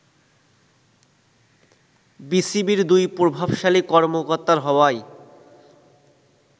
বিসিবির দুই্র প্রভাবশালী কর্মকর্তার হওয়ায়